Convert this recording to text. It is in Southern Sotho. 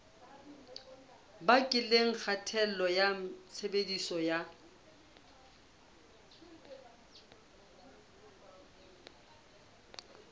bakileng kgatello ya tshebediso ya